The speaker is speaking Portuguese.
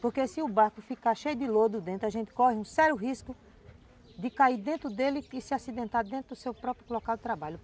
Porque se o barco ficar cheio de lodo dentro, a gente corre um sério risco de cair dentro dele e se acidentar dentro do seu próprio local de trabalho.